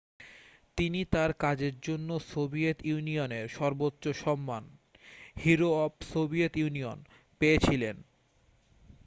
তিনি তাঁর কাজের জন্য সোভিয়েত ইউনিয়নের সর্বোচ্চ সম্মান হিরো অফ সোভিয়েত ইউনিয়ন' পেয়েছিলেন